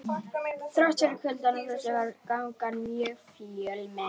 Þrátt fyrir kuldann og frostið var gangan mjög fjölmenn.